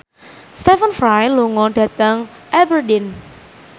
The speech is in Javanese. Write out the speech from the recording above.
Stephen Fry lunga dhateng Aberdeen